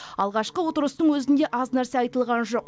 алғашқы отырыстың өзінде аз нәрсе айтылған жоқ